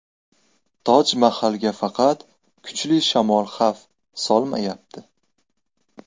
Toj Mahalga faqat kuchli shamol xavf solmayapti.